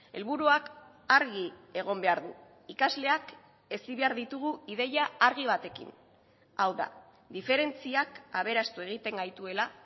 helburuak argi egon behar du ikasleak hezi behar ditugu ideia argi batekin hau da diferentziak aberastu egiten gaituela